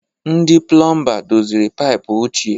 Ndị Pụlọmba doziri paịpụ ochie.